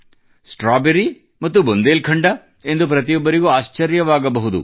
strawberry ಮತ್ತು Bundelkhand ಎಂದು ಪ್ರತಿಯೊಬ್ಬರಿಗೂ ಆಶ್ಚರ್ಯವಾಗಬಹುದು